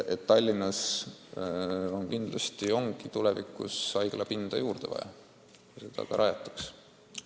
Tallinnas kindlasti ongi tulevikus haiglapinda juurde vaja ja selle nimel ka tegutsetakse.